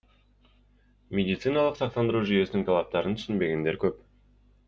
медициналық сақтандыру жүйесінің талаптарын түсінбегендер көп